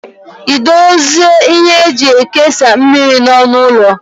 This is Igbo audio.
Ị dozila ihe eji ekesa mmiri n'ọnụ ụlọ?